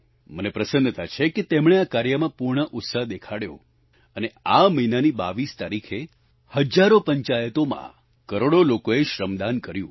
મને પ્રસન્નતા છે કે તેમણે આ કાર્યમાં પૂર્ણ ઉત્સાહ દેખાડ્યો અને આ મહિનાની 22 તારીખે હજારો પંચાયતોમાં કરોડો લોકોએ શ્રમદાન કર્યું